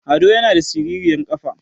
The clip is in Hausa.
Ado yana da siriryar ƙafa